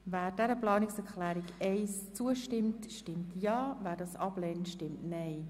Wer dieser Planungserklärung zustimmt, stimmt Ja, wer diese ablehnt, stimmt Nein.